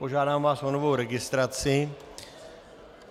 Požádám vás o novou registraci.